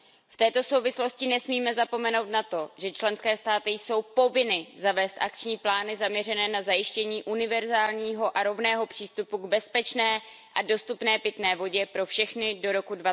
V této souvislosti nesmíme zapomenout na to, že členské státy jsou povinny zavést akční plány zaměřené na zajištění univerzálního a rovného přístupu k bezpečné a dostupné pitné vodě pro všechny do roku